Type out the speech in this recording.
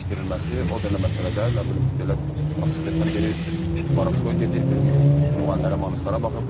O da nə məsələdə, nə bilim belə açıq desəm biri varovskoy gedir, biri müğənnilərə, manistlara baxır.